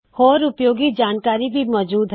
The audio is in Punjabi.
ਹੋਰ ਉਪਯੋਗੀ ਜਾਨਕਾਰੀ ਭੀ ਮੌਜੂਦ ਹੈ